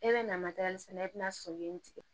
E bɛ na matelɛ i bɛna soden tigɛ